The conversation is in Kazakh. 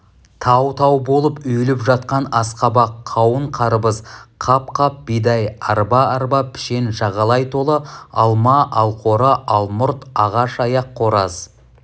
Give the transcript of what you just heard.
тау-тау болып үйіліп жатқан асқабақ қауын-қарбыз қап-қап бидай арба-арба пішен жағалай толы алма алқоры алмұрт ағаш аяқ қораз